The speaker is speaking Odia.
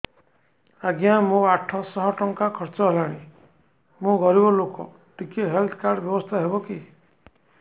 ଆଜ୍ଞା ମୋ ଆଠ ସହ ଟଙ୍କା ଖର୍ଚ୍ଚ ହେଲାଣି ମୁଁ ଗରିବ ଲୁକ ଟିକେ ହେଲ୍ଥ କାର୍ଡ ବ୍ୟବସ୍ଥା ହବ କି